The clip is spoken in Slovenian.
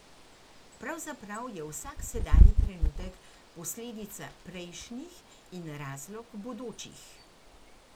Pravzaprav je vsak sedanji trenutek posledica prejšnjih in razlog bodočih.